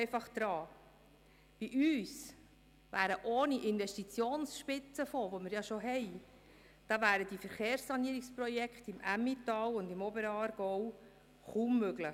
Bei uns wären ohne den Fonds zur Deckung von Investitionsspitzen, der bereits existiert, die Verkehrssanierungsprojekte im Emmental und Oberaargau kaum möglich.